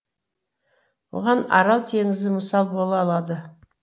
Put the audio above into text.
бұған арал теңізі мысал бола алады